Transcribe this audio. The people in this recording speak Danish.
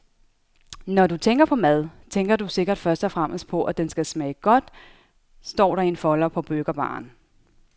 Når du tænker på mad, tænker du sikkert først og fremmest på, at den skal smage godt, står der i en folder på burgerbaren.